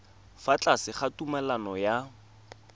fa tlase ga tumalano ya